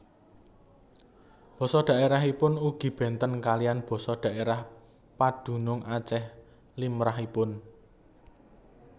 Basa dhaèrahipun ugi bénten kaliyan basa dhaèrah padunung Acèh limrahipun